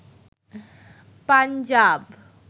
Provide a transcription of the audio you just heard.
Punjab